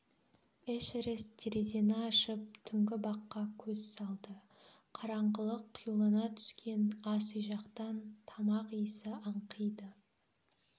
эшерест терезені ашып түнгі баққа көз салды қараңғылық қюлана түскен ас үй жақтан тамақ иісі аңқиды